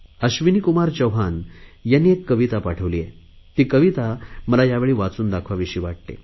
अश्विनीकुमार चौहान यांनी एक कविता पाठविली आहे ती मला यावेळी वाचून दाखवाविशी वाटते